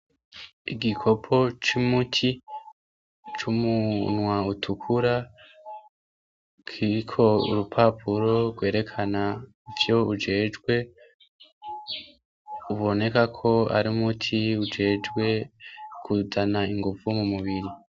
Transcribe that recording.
Igikopo c’umuti c’umunwa utukura , kiriko urupapuro rwerekana ivyo ujejwe , uboneka ko ar’umuti ujejwe kuzana inguvu mu mubiri.